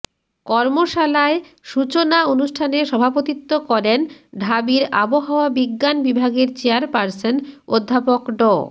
কর্মশালায় সূচনা অনুষ্ঠানে সভাপতিত্ব করেন ঢাবির আবহাওয়া বিজ্ঞান বিভাগের চেয়ারপার্সন অধ্যাপক ড